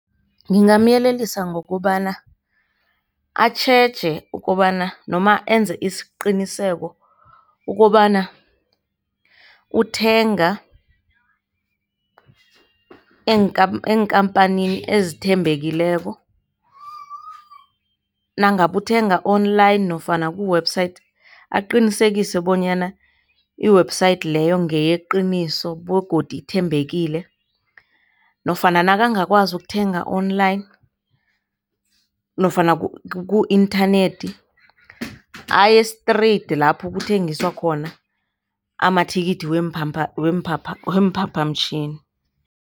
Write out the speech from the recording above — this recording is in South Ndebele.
Ngingamyelelisa ngokobana atjheje ukobana nomenze isiqiniseko ukobana uthenga eenkampanini ezithembekileko, nangabe uthenga online nofana ku-website aqinisekise bonyana i-website leyo kungeyeqiniso begodu ithembekile nofana nakangakwazi ukuthenga online nofana ku-inthanethi aye-straight lapho kuthengiswa khona amathikithi weemphaphamtjhini.